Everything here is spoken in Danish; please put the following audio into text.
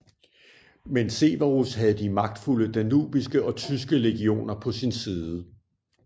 Men Severus havde de magtfulde danubiske og tyske legioner på sin side